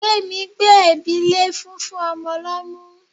Gbemi gbé ẹ̀bi lé fúnfún ọmọ lọ́mú.